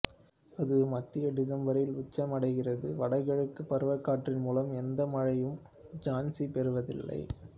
அது மத்தியடிசம்பரில் உச்சமடைகிறது வடகிழக்கு பருவக்காற்றின் மூலம் எந்த மழையையும் ஜான்சி பெறுவதில்லை